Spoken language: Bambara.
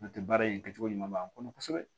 N'o tɛ baara in kɛcogo ɲuman b'an kɔnɔ kosɛbɛ